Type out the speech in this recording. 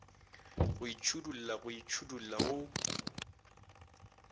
go itšhidolla go itšhidolla go